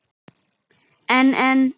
En en.